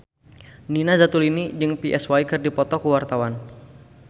Nina Zatulini jeung Psy keur dipoto ku wartawan